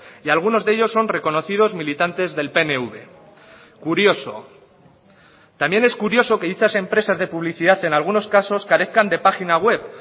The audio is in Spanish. y algunos de ellos son reconocidos militantes del pnv curioso también es curioso que dichas empresas de publicidad en algunos casos carezcan de página web